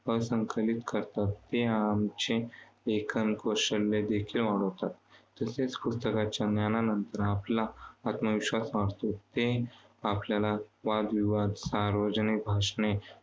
संकलित करतात. ते आमचे लेखनकौशल्यदेखील वाढवतात. तसेच पुस्तकाच्या ज्ञानानंतर आत्मविश्वास वाढतो. ते आपल्याला वादविवाद, सार्वजनिक भाषणे